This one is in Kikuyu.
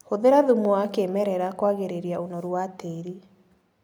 Hũthĩra thumu wakĩmerera kwagĩrĩria ũnoru wa tĩrĩ.